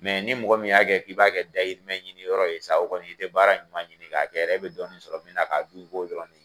Mɛ ni mɔgɔ min y'a kɛ k'i b'a kɛ dayirimɛ ɲini yɔrɔ ye sa, o kɔni i tɛ baara ɲuman ɲini k'a kɛ dɛ, e bɛ dɔɔni sɔrɔ min na k'a dun i b'o dɔrɔn de ɲini.